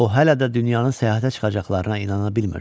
O hələ də dünyanın səyahətə çıxacaqlarına inana bilmirdi.